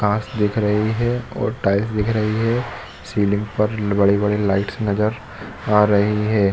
घास दिख रही है और टाइल्स दिख रही है सीलिंग पर बड़े-बड़े लाइट नज़र आ रही है।